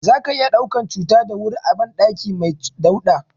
Zaka iya ɗaukan cuta da wuri a banɗaki mai dauɗa.